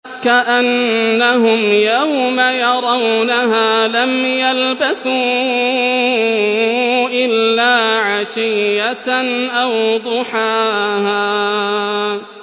كَأَنَّهُمْ يَوْمَ يَرَوْنَهَا لَمْ يَلْبَثُوا إِلَّا عَشِيَّةً أَوْ ضُحَاهَا